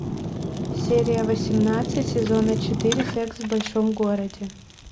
серия восемнадцать сезона четыре секс в большом городе